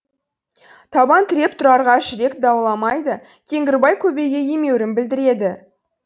табан тіреп тұрарға жүрек дауаламайды кеңгірбай көбейге емеурін білдіреді